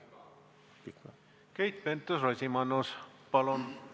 Keit Pentus-Rosimannus, palun!